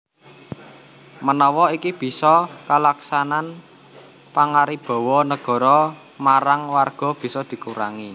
Menawa iki bisa kalaksanan pangaribawa Negara marang Warga bisa dikurangi